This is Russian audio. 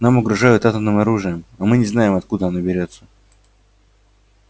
нам угрожают атомным оружием а мы не знаем откуда оно берётся